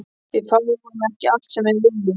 Við fáum ekki allt sem við viljum.